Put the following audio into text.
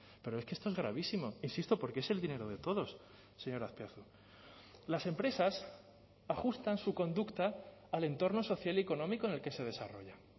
pero es que esto es gravísimo insisto porque es el dinero de todos señor azpiazu las empresas ajustan su conducta al entorno social y económico en el que se desarrollan